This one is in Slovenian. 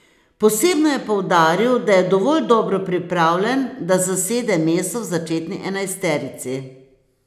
Posebno je poudaril, da je dovolj dobro pripravljen, da zasede mesto v začetni enajsterici.